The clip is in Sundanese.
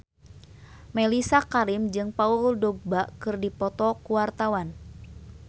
Mellisa Karim jeung Paul Dogba keur dipoto ku wartawan